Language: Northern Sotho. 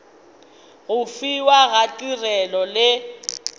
go fiwa ga tirelo le